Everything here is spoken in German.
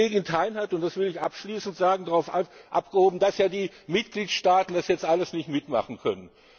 Die Kollegin Thein hat das will ich abschließend sagen darauf abgehoben, dass ja die Mitgliedstaaten das jetzt alles nicht mitmachen können.